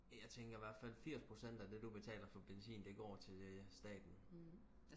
jeg tænker i hvertfald firs procent af det du betaler for benzin det går til det staten